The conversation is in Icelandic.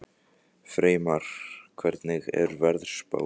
Freymar, hvernig er veðurspáin?